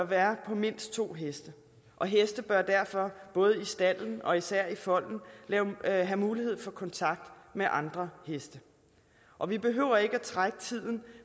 være på mindst to heste og heste bør derfor både i stalden og især i folden have mulighed for kontakt med andre heste og vi behøver ikke trække tiden